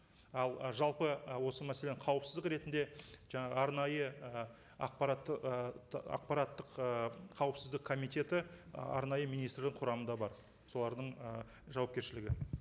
ал жалпы ы осы мәселенің қауіпсіздігі ретінде жаңағы арнайы ы ақпаратты ы ақпараттық ы қауіпсіздік комитеті ы арнайы министрлік құрамында бар солардың жауапкершілігі